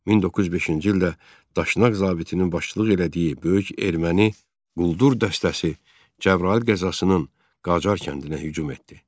1905-ci ildə Daşnaq zabitinin başçılıq elədiyi böyük erməni quldur dəstəsi Cəbrayıl qəzasının Qacar kəndinə hücum etdi.